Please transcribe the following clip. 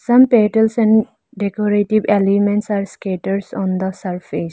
Some petals and decorative elements are scatters on the surface.